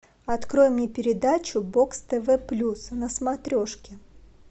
открой мне передачу бокс тв плюс на смотрешке